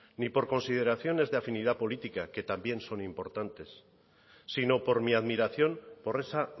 ni por consideraciones de afinidad política que también son importantes sino por mi admiración por esa